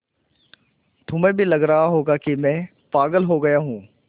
तुम्हें भी लग रहा होगा कि मैं पागल हो गया हूँ